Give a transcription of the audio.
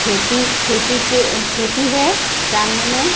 खेती खेती के खेती है सामने मे।